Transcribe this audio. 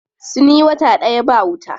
Sun yi wata ɗaya ba wuta.